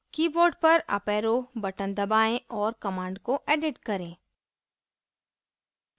board पर up arrow button दबाएं और command को edit करें